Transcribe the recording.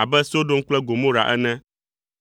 abe Sodom kple Gomora ene.